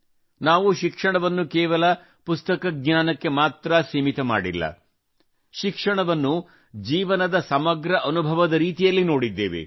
ನಾವು ಶಿಕ್ಷಣವನ್ನು ಕೇವಲ ಪುಸ್ತಕ ಜ್ಞಾನಕ್ಕೆ ಮಾತ್ರಾ ಸೀಮಿತ ಮಾಡಿಲ್ಲ ಶಿಕ್ಷಣವನ್ನು ಜೀವನದ ಸಮಗ್ರ ಅನುಭವದ ರೀತಿಯಲ್ಲಿ ನೋಡಿದ್ದೇವೆ